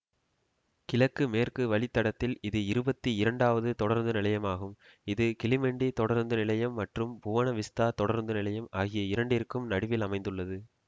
கிழக்கு மேற்கு வழித்தடத்தில் இது இருபத்தி இரண்டாவது தொடருந்துநிலையமாகும் இது கிளிமெண்டி தொடருந்து நிலையம் மற்றும் புவன விஸ்தா தொடருந்து நிலையம் ஆகிய இரண்டிற்கும் நடுவில் அமைந்துள்ளது